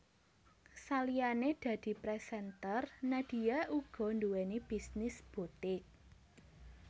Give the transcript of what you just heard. Saliyané dadi presenter Nadia uga nduweni bisnis butik